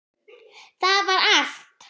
Það var allt.